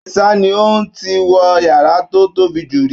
Àdìsá ní òun ò tíì wọ yàrá tó tóbi jù rí.